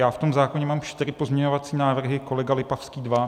Já v tom zákoně mám čtyři pozměňovací návrhy, kolega Lipavský dva.